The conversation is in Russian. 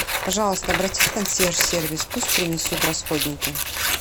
пожалуйста обратись в консьерж сервис пусть принесут расходники